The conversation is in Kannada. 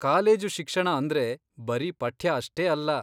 ಕಾಲೇಜು ಶಿಕ್ಷಣ ಅಂದ್ರೆ ಬರೀ ಪಠ್ಯ ಅಷ್ಟೇ ಅಲ್ಲ.